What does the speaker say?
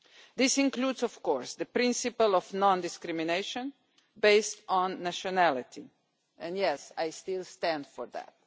This includes, of course, the principle of non discrimination based on nationality, and yes, I still stand for that.